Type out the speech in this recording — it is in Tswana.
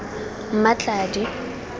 mmatladi